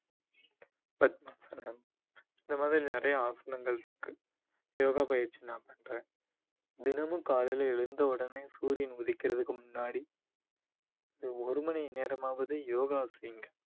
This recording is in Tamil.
பத்மாசனம் இந்த மாதிரி நிறையா ஆசனங்கள் இருக்கு யோகா பயிற்சி நான் பண்றேன் தினமும் காலையில எழுந்தவுடனே சூரியன் உதிக்கிறதுக்கு முன்னாடி இந்த ஒரு மணி நேரமாவது யோகா செய்யுங்க